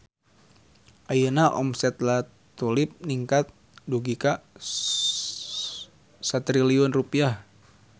Ayeuna omset La Tulip ningkat dugi ka 1 triliun rupiah